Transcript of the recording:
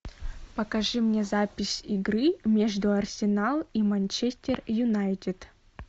покажи мне запись игры между арсенал и манчестер юнайтед